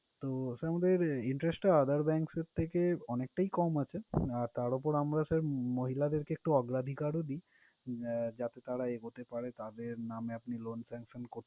তো sir আমাদের interest টা other banks এর থেকে অনেকটাই কম আছে। তার উপর আমরা sir মহিলাদেরকে অগ্রাধিকারও দিই, যাতে তারা এগোতে পারে। তাদের নামে আপনি loan sanction করতে